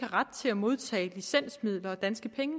ret til at modtage licensmidler af danske penge